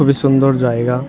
খুবই সুন্দর জায়গা ।